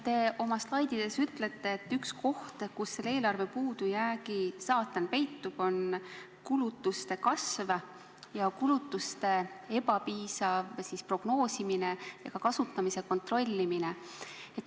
Te oma slaididel näitate, et üks koht, kus eelarve puudujäägi saatan peitub, on kulutuste kasv, kulutuste ebapiisav prognoosimine ja ka kasutamise kontrollimine.